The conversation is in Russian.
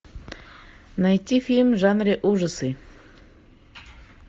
найти фильм в жанре ужасы